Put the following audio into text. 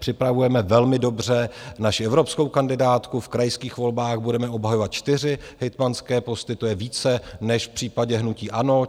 Připravujeme velmi dobře naši evropskou kandidátku, v krajských volbách budeme obhajovat čtyři hejtmanské posty, to je více než v případě hnutí ANO.